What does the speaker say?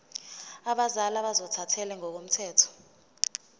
abazali ozothathele ngokomthetho